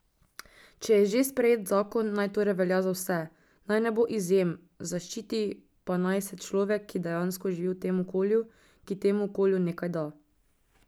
Če je že sprejet zakon, naj torej velja za vse, naj ne bo izjem, zaščiti pa naj se človek, ki dejansko živi v tem okolju, ki temu okolju nekaj da.